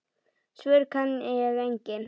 Svör kann ég engin.